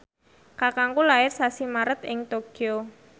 kakangku lair sasi Maret ing Tokyo